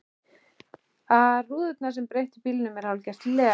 ar rúðurnar sem breytir bílnum í hálfgert leg.